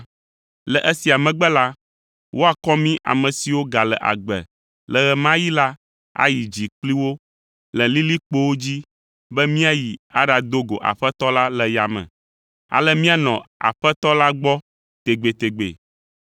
Le esia megbe la, woakɔ mí ame siwo gale agbe le ɣe ma ɣi la ayi dzi kpli wo le lilikpowo dzi be míayi aɖado go Aƒetɔ la le yame. Ale míanɔ Aƒetɔ la gbɔ tegbetegbe,